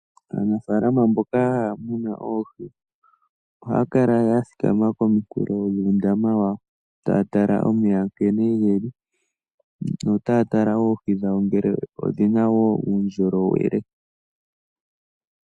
Aanafalama mboka haya muna oohi oha ya kala ya thikama komikulo dhuundama wayo taya tale nkene omeya ge li notaya tala wo oohi dhawo odhina wo uundjolowele.